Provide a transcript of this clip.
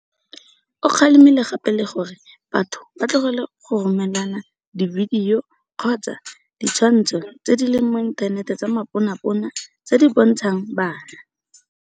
O kgalemile gape le gore batho ba tlogele go romelana dibidio kgotsa ditshwantsho tse di leng mo inthaneteng tsa maponapona tse di bontshang bana.